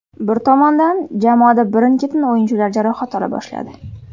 Bir tomondan, jamoada birin-ketin o‘yinchilar jarohat ola boshladi.